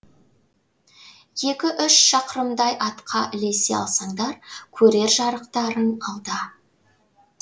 екі үш шақырымдай атқа ілесе алсаңдар көрер жарықтарың алда